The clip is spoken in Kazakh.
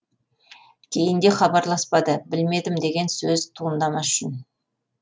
кейінде хабарласпады білмедім деген сөз туындамас үшін